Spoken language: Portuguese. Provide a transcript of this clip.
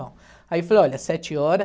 Aí eu falei, olha, sete hora.